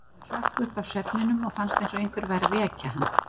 Hann hrökk upp af svefninum og fannst eins og einhver væri að vekja hann.